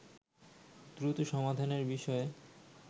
দ্রুত সমাধানের বিষয়ে